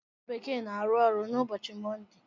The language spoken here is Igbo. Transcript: Ndị ọrụ bekee na-arụ ọrụ n'ụbọchị Mọnde.